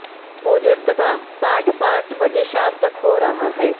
पूजन तथा पाठ पांच बजे शाम तक हो रहा है